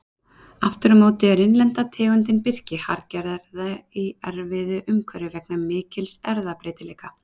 Aftur á móti er innlenda tegundin birki harðgerðari í erfiðu umhverfi vegna mikils erfðabreytileika.